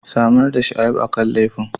Samar da shaidu kan laifin!